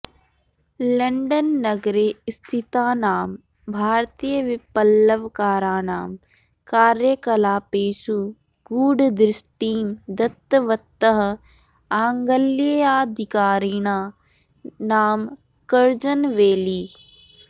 London नगरे स्थितानां भारतीयविप्लवकाराणां कार्यकलापेषु गूढदृष्टिं दत्तवतः आङ्ग्लेयाधिकारिणः नाम कर्जनवैली